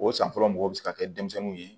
O san fɔlɔ mɔgɔw bɛ se ka kɛ denmisɛnninw ye